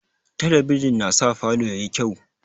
Talabijin na sa falo yayi kyau